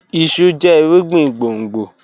Iṣu jẹ irugbin gbongbo